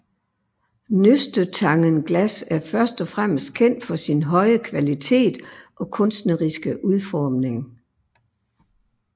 Nøstetangenglas er først og fremmest kendt for sin høje kvalitet og kunstneriske udforming